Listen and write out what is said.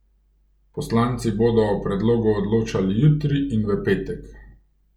Poslanci bodo o predlogu odločali jutri in v petek.